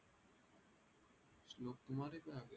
श्लोक